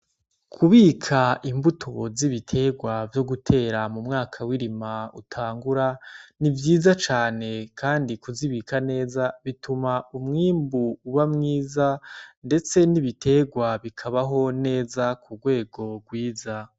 Kubika imbuto z'ibiterwa vyo gutera mu mwaka w'irima utangura ni vyiza cane kandi kuzibika neza bituma umwimbu uba mwiza, ndetse n'ibiterwa bikabaho neza, ku rwego rwiza.